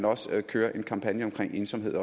også køre en kampagne om ensomhed